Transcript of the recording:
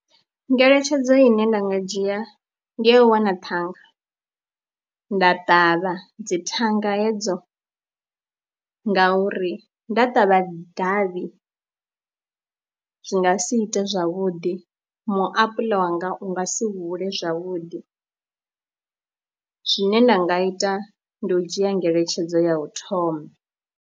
Ngeletshedzo ine nda nga dzhia ndi ya u wana thanga nda ṱavha dzi thanga hedzo ngauri nda ṱavha davhi zwi nga si ite zwavhuḓi, muapuḽa wanga u nga si hule zwavhuḓi, zwine nda nga ita ndi u dzhia ngeletshedzo ya u thoma.